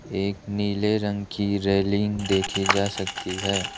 एक नीले रंग की रेलिंग दिखाई जा सकती है।